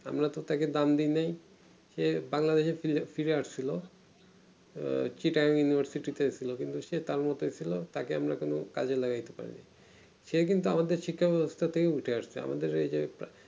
আমরা তো তাকে দান দেয় নাই যে Bangladesh ফায়ার আসছিলো আহ chitta-university এ এসেছিলো কিন্তু সে তারমতোই ছিল তাকে আমরা কোনো কাজে লাগাইতে পারিনি সে কিন্তু আমাদের শিক্ষা ব্যবস্থা থেকে উঠে আসছে আমাদের ওই যে